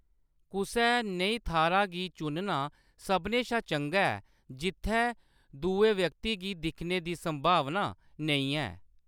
कुसै नेही थाह्‌‌‌रा गी चुनना सभनें शा चंगा ऐ जित्थै दुए व्यक्ति गी दिक्खने दी संभावना नेईं है।